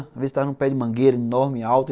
Às vezes estava num pé de mangueira enorme, alto.